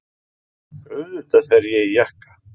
Auðvitað fer ég í jakka.